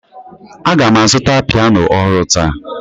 Aga m azụta piano ọhụrụ taa